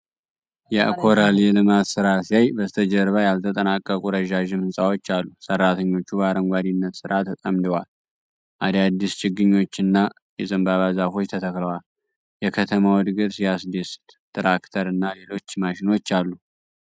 ያኮራል! የልማት ስራ ሲያሳይ! በስተጀርባ ያልተጠናቀቁ ረዣዥም ሕንፃዎች አሉ። ሠራተኞች በአረንጓዴነት ሥራ ተጠምደዋል። አዳዲስ ችግኞችና የዘንባባ ዛፎች ተተክለዋል። የከተማው እድገት ሲያስደስት! ትራክተር እና ሌሎች ማሽኖች አሉ።